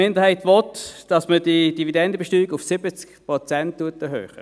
– Die Minderheit will, dass man die Dividendenbesteuerung auf 70 Prozent erhöht.